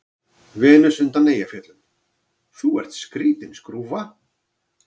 Venus undan Eyjafjöllum:- Þú ert skrýtin skrúfa.